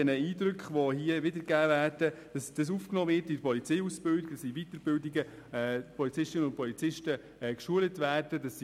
Die Eindrücke, die hier wiedergegeben werden, werden in der Polizeiausbildung aufgenommen und die Polizistinnen und Polizisten werden in Weiterbildungen geschult;